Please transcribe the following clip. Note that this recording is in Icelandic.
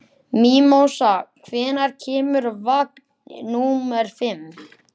Mímósa, hvenær kemur vagn númer fimm?